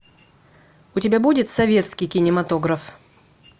у тебя будет советский кинематограф